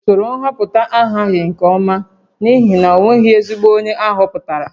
Usoro nhọpụta ahaghị nke ọma n'ihi na o nweghị ezigbo onye a họpụtara